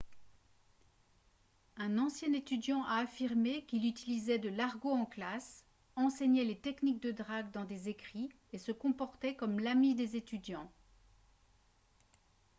un ancien étudiant a affirmé qu’il « utilisait de l’argot en classe enseignait les techniques de drague dans des écrits et se comportait comme l’ami des étudiants »